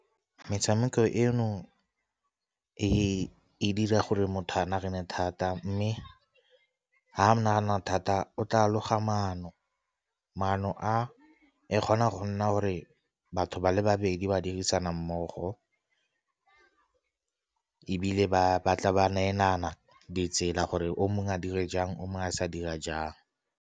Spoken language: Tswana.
Metshameko eno e dira gore motho a nagane thata, mme ha nagana thata o tla loga maano, maano a e kgona go nna gore batho ba le babedi ba dirisana mmogo ebile ba tla ba neelana di tsela gore o mongwe a dire jang o mongwe a sa dira jang.